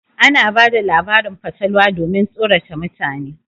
Ana bada labarin fatalwa domin tsorata mutane.